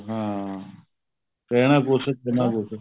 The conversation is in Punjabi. ਹਾਂ ਕਹਿਣਾ ਕੁੱਝ ਕਰਨਾ ਕੁੱਝ